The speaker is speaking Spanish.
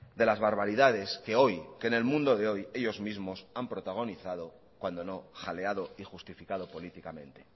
de las barbaridades que hoy en el mundo de hoy ellos mismos han protagonizado cuando no jaleado y justificado políticamente